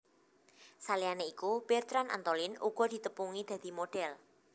Saliyané iku Bertrand Antolin uga ditepungi dadi modhèl